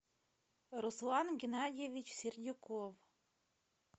руслан геннадьевич сердюков